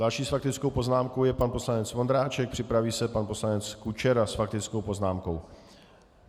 Další s faktickou poznámkou je pan poslanec Vondráček, připraví se pan poslanec Kučera s faktickou poznámkou.